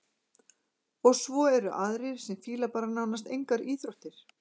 Og svo eru aðrir sem fíla bara nánast engar íþróttir.